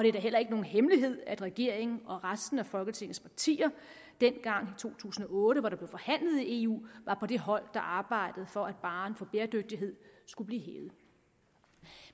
er da heller ikke nogen hemmelighed at regeringen og resten af folketingets partier dengang i to tusind og otte hvor det blev forhandlet i eu var på det hold der arbejdede for at barren for bæredygtighed skulle blive hævet